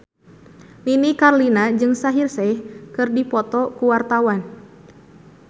Nini Carlina jeung Shaheer Sheikh keur dipoto ku wartawan